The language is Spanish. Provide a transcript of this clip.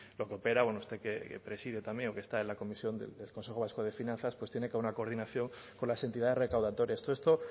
lo que opera bueno usted que preside también o que está en la comisión del consejo vasco de finanzas pues tiene que haber una coordinación con las entidades recaudatorias todo esto